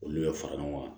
Olu bɛ fara ɲɔgɔn kan